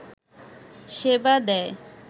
সেবা দেয়